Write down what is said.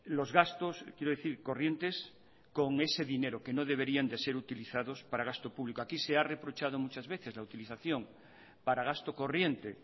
los gastos quiero decir corrientes con ese dinero que no deberían de ser utilizados para gasto público aquí se ha reprochado muchas veces la utilización para gasto corriente